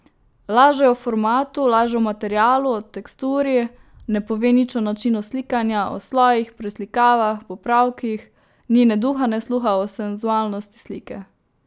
Laže o formatu, laže o materialu, o teksturi, ne pove nič o načinu slikanja, o slojih, preslikavah, popravkih, ni ne duha ne sluha o senzualnosti slike.